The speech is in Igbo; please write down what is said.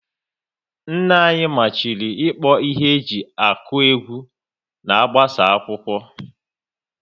Nna anyị machiri ikpo ihe e ji akụ egwu na-agbasa akwụkwọ